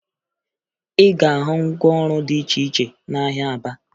Ị ga-ahụ ngwaọrụ dị iche iche n'ahịa Aba